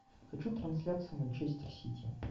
хочу трансляцию манчестер сити